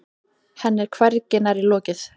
Henni er hvergi nærri lokið.